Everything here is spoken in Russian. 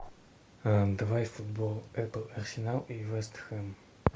давай футбол апл арсенал и вест хэм